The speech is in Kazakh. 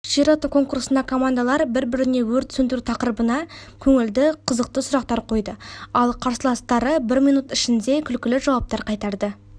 ширату конкурсында командалар бір-біріне өрт сөндіру тақырыбына көңілді қызықты сұрақтар қойды ал қарсыластары бір минут ішінде күлкілі жауаптар қайтарды